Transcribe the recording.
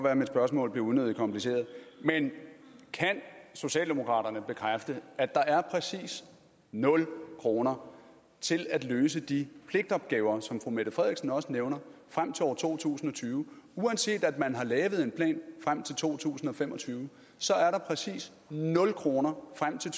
at mit spørgsmål blev unødigt kompliceret men kan socialdemokraterne bekræfte at der er præcis nul kroner til at løse de pligtopgaver som fru mette frederiksen også nævner frem til år 2020 uanset at man har lavet en plan frem til to tusind og fem og tyve er der præcis nul kroner frem til